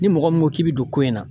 Ni mɔgɔ min ko k'i bi don ko in na